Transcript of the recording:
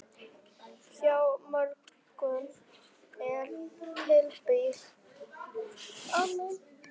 Hjá mörgum er tímabil anna.